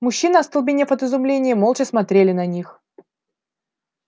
мужчины остолбенев от изумления молча смотрели на них